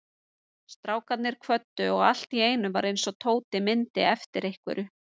Strákarnir kvöddu og allt í einu var eins og Tóti myndi eftir einhverju.